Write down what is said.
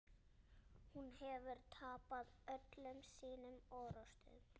Hún hefur tapað öllum sínum orrustum.